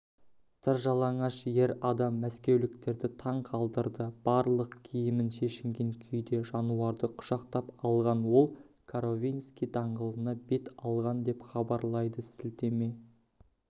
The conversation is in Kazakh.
тыржалаңаш ер адам мәскеуліктерді таң қалдырды барлық киімін шешінген күйде жануарды құшақтап алған ол коровинский даңғылына бет алған деп хабарлайды сілтеме